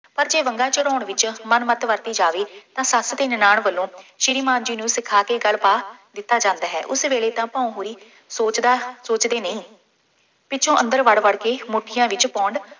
ਪਰ ਜੇ ਵੰਗਾਂ ਚੜ੍ਹਾਉਣ ਵਿੱਚ ਮਨਮੱਤ ਵਰਤੀ ਜਾਵੇ ਤਾਂ ਸੱਸ ਅਤੇ ਨਨਾਣ ਵੱਲੋਂ ਸ਼੍ਰੀ ਮਾਨ ਜੀ ਨੂੰ ਸਿਖਾ ਕੇ ਗਲ ਪਾ ਦਿੱਤਾ ਜਾਂਦਾ ਹੈ। ਉਸੇ ਵੇਲੇ ਤਾਂ ਭਊਂ ਹੋਈ ਸੋਚਦਾ, ਸੋਚਦੇ ਨਹੀਂ, ਪਿੱਛੋਂ ਅੰਦਰ ਵੜ੍ਹ ਵੜ੍ਹ ਕੇ ਮੁੱਠੀਆਂ ਵਿੱਚ ਪੌਂਡ